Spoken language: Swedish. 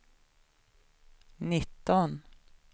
nitton